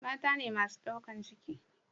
mata ne masu daukan ciki